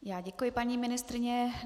Já děkuji, paní ministryně.